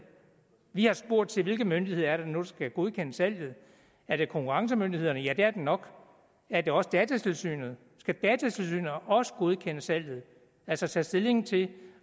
vi har spurgt til hvilke myndigheder det nu skal godkende salget er det konkurrencemyndighederne ja det er det nok er det også datatilsynet skal de også godkende salget altså tage stilling til